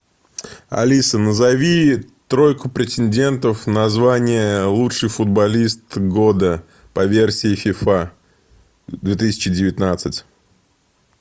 алиса назови тройку претендентов на звание лучший футболист года по версии фифа две тысячи девятнадцать